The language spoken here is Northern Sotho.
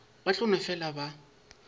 ba tla no fela ba